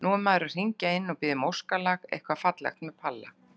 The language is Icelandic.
Nú er maður að hringja inn og biðja um óskalag, eitthvað fallegt með Palla